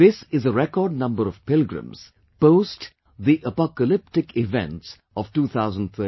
This is a record number of pilgrims post the apocalyptic events of 2013